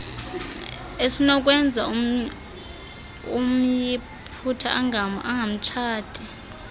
esinokwenza umyiputa angamtshati